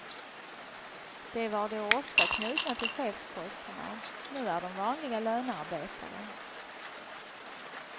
De var då ofta knutna till chefsposterna, nu är de vanliga lönearbetare.